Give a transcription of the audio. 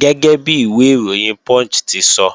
Gẹ́gẹ́bi ìwé ìròyìn Punch ti sọ,